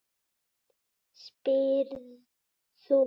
spyrð þú.